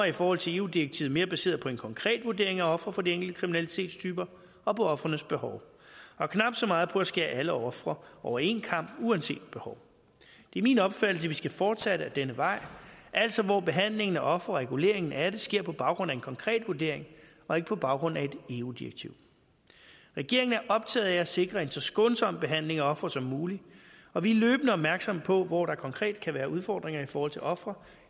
i forhold til eu direktivet mere baseret på en konkret vurdering af ofre for de enkelte kriminalitetstyper og på ofrenes behov og knap så meget på at skære alle ofre over en kam uanset behov det er min opfattelse at vi skal fortsætte ad denne vej altså hvor behandlingen af ofre og reguleringen af det sker på baggrund af en konkret vurdering og ikke på baggrund af et eu direktiv regeringen er optaget af at sikre en så skånsom behandling af ofre som muligt og vi er løbende opmærksomme på hvor der konkret kan være udfordringer i forhold til ofre